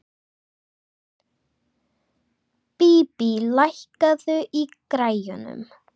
Bíbí, lækkaðu í græjunum.